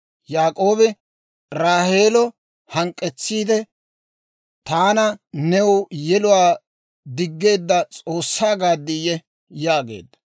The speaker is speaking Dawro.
Yaak'oobi Raaheelo hank'k'etsiide, «Taana new yeluwaa diggeedda S'oossaa gaaddiyye?» yaageedda.